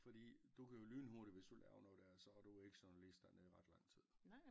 Fordi du kan jo lynhurtigt hvis du laver noget der er så er du ikke journalist dernede i ret lang tid